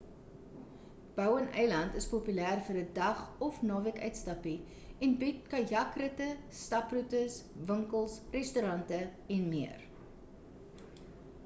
bowen-eiland is populêr vir 'n dag of naweek-uitstappie en bied kajak-ritte staproetes winkels restaurante en meer